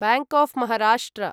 bank of Maharashtra